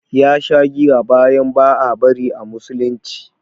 Ya sha giya bayan ba a bari a musulunci